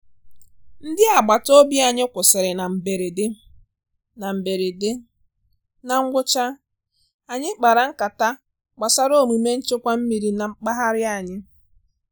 Ndí àgbátá òbí ànyị́ kwụ́sị́rị́ ná mbérédé, ná mbérédé, ná ngwụ́chá ànyị́ kpárá nkátá gbásárá òmúmé nchékwà mmírí ná mpághárá ànyị́.